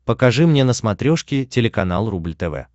покажи мне на смотрешке телеканал рубль тв